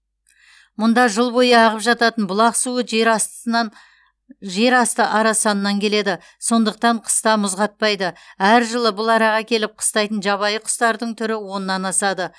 мұнда жыл бойы ағып жататын бұлақ суы жер астысынан асты арасанынан келеді сондықтан қыста мұз қатпайды әр жылы бұл араға келіп қыстайтын жабайы құстардың түрі оннан асады